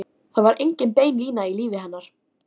Við ströndina standa nokkur eyðileg hús á víð og dreif.